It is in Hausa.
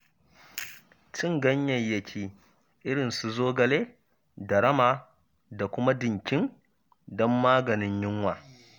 Cin ganyayyaki irin su zogale da rama da kuma dinkim don maganin yunwa.